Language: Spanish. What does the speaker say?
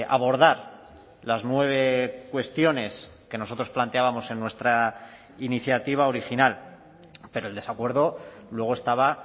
abordar las nueve cuestiones que nosotros planteábamos en nuestra iniciativa original pero el desacuerdo luego estaba